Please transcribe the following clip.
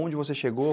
Onde você chegou?